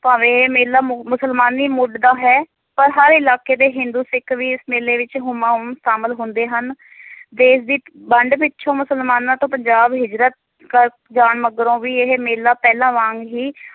ਭਾਵੇਂ ਇਹ ਮੇਲਾ ਮੁ~ ਮੁਸਲਮਾਨੀ ਮੁੱਢ ਦਾ ਹੈ ਪਰ ਹਰ ਇਲਾਕੇ ਦੇ ਹਿੰਦੂ ਸਿੱਖ ਵੀ ਇਸ ਮੇਲੇ ਵਿਚ ਹੁਮਾਂ ਹੁੱਮ ਸ਼ਾਮਿਲ ਹੁੰਦੇ ਹਨ ਦੇਸ਼ ਦੀ ਵੰਡ ਪਿੱਛੋਂ ਮੁਸਲਮਾਨਾਂ ਤੋਂ ਪੰਜਾਬ ਹਿਜਰਤ ਕਰ ਜਾਨ ਮਗਰੋਂ ਵੀ ਇਹ ਮੇਲਾ ਪਹਿਲਾਂ ਵਾਂਗ ਹੀ